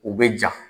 U bɛ ja